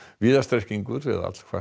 víða strekkingur eða